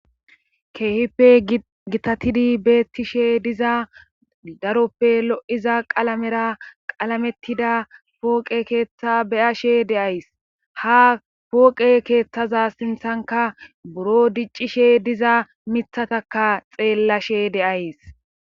Keehippe gitatidi beettishe diza daroppe lo7iza qalamera qalamettida pooqe keeththa beyashe deays ha pooqe keeththaza sinthanka buro diccishe diza mithataka xeellashe de'ays.